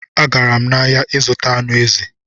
Agara m n'ahịa ịzụta anụ ezi